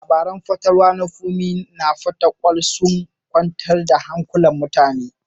Labarun fatalwa na Funmi a Fatakwal sun kwantar da hankulan mutane.